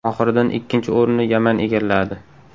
Oxiridan ikkinchi o‘rinni Yaman egalladi.